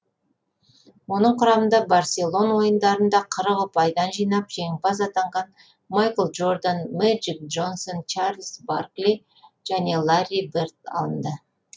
оның құрамында барселон ойындарында қырық ұпайдан жинап жеңімпаз атанған майкл джордан мэджик джонсон чарльз баркли және ларри берд алынды